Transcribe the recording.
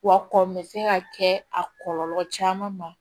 Wa kɔmi se ka kɛ a kɔlɔlɔ caman ma